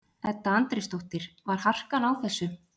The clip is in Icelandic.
Edda Andrésdóttir: Var harkan á þessu?